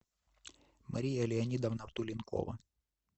мария леонидовна туленкова